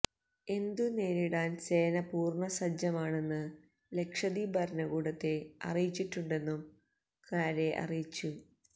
എന്തുനേരിടാന് സേന പൂര്ണ്ണ സജ്ജമാണെന്ന് ലക്ഷദ്വീപ് ഭരണകൂടത്തെ അറിയിച്ചിട്ടുണ്ടെന്നും കാര്വെ അറിയിച്ചു